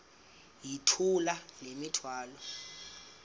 yithula le mithwalo